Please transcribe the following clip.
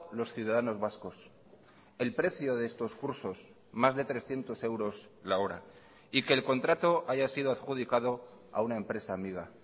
los ciudadanos vascos el precio de estos cursos más de trescientos euros la hora y que el contrato haya sido adjudicado a una empresa amiga